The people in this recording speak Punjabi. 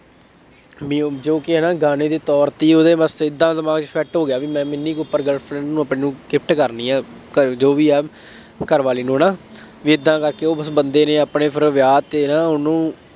ਬਈ ਉਹ ਜੋ ਕਿ ਨਾ ਗਾਣੇ ਦੇ ਤੌਰ ਤੇ ਉਹਦੇ ਵਾਸਤੇ ਏਦਾਂ ਦਿਮਾਗ ਚ ਫਿੱਟ ਹੋ ਗਿਆ ਬਈ ਮੈਂ ਮਿੰਨੀ ਕੂਪਰ girl friend ਨੂੰ ਆਪਣੀ ਨੂੰ gift ਕਰਨੀ ਆ, ਖੈਰ ਜੋ ਵੀ ਹੈ, ਘਰਵਾਲੀ ਨੂੰ ਨਾ, ਬਈ ਏਦਾਂ ਕਰਕੇ ਉਹ ਬਸ ਬੰਦੇ ਨੇ ਆਪਣੇ ਫੇਰ ਵਿਆਹ ਤੇ ਨਾ ਉਹਨੂੰ